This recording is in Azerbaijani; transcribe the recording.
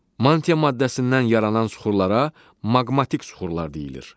Mantia maddəsindən yaranan suxurlara maqmatik suxurlar deyilir.